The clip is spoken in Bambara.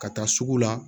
Ka taa sugu la